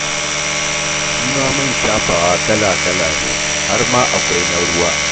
Shi ma man shafawa kala-kala ne, har ma akwai na ruwa.